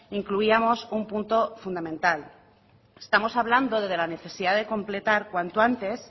incluíamos un punto fundamental estamos hablando de la necesidad de completar cuanto antes